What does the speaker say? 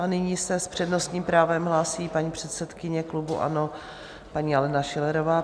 A nyní se s přednostním právem hlásí paní předsedkyně klubu ANO, paní Alena Schillerová.